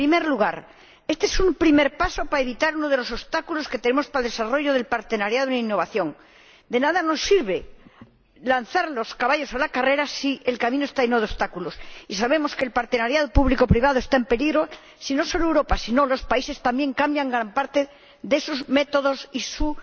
En primer lugar, este es un primer paso para evitar uno de los obstáculos que tenemos para el desarrollo de la asociación para la innovación. De nada nos sirve lanzar los caballos a la carrera si el camino está lleno de obstáculos, y sabemos que la asociación público privada está en peligro si, no solo Europa, sino también los países cambian gran parte de sus métodos y su